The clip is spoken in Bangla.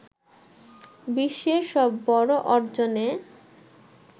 বিশ্বের সব বড় অর্জনে